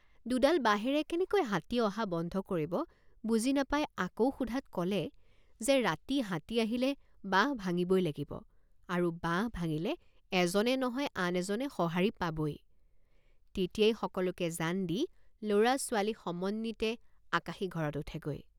দুডাল বাঁহেৰে কেনেকৈ হাতী অহা বন্ধ কৰিব বুজি নাপাই আকৌ সোধাত কলে যে ৰাতি হাতী আহিলে বাঁহ ভাঙিবই লাগিব আৰু বাঁহ ভাঙিলে এজনে নহয় আন এজনে সহাৰি পাবই তেতিয়াই সকলোকে জান দি লৰাছোৱালী সমন্বিতে আকাশী ঘৰত উঠেগৈ।